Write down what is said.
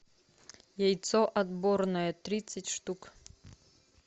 яйцо отборное тридцать штук